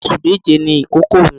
Ọmọ oṣù méje ni ìkókó mi.